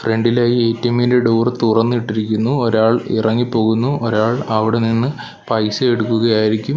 ഫ്രണ്ടിലെ എ_ടി_എമ്മിന്റെ ഡോർ തുറന്നിട്ടിരിക്കുന്നു ഒരാൾ ഇറങ്ങിപ്പോകുന്നു ഒരാൾ അവിടെ നിന്ന് പൈസ എടുക്കുകയായിരിക്കും.